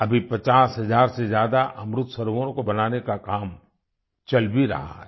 अभी 50 हजार से ज्यादा अमृत सरोवरों को बनाने का काम चल भी रहा है